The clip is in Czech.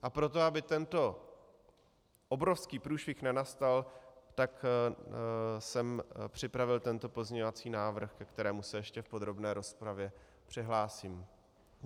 A proto, aby tento obrovský průšvih nenastal, tak jsem připravil tento pozměňovací návrh, ke kterému se ještě v podrobné rozpravě přihlásím.